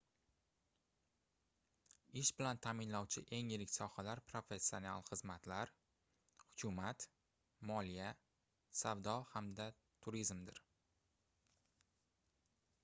ish bilan taʼminlovchi eng yirik sohalar professional xizmatlar hukumat moliya savdo hamda turizmdir